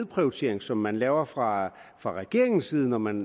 prioritering som man laver fra fra regeringens side når man